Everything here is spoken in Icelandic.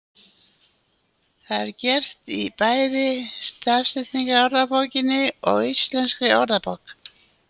Það er gert í bæði Stafsetningarorðabókinni og Íslenskri orðabók.